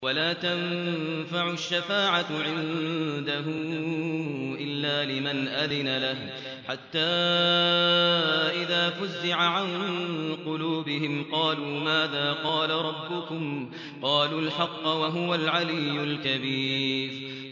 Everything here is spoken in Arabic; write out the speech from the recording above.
وَلَا تَنفَعُ الشَّفَاعَةُ عِندَهُ إِلَّا لِمَنْ أَذِنَ لَهُ ۚ حَتَّىٰ إِذَا فُزِّعَ عَن قُلُوبِهِمْ قَالُوا مَاذَا قَالَ رَبُّكُمْ ۖ قَالُوا الْحَقَّ ۖ وَهُوَ الْعَلِيُّ الْكَبِيرُ